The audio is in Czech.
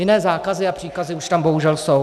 Jiné zákazy a příkazy už tam bohužel jsou.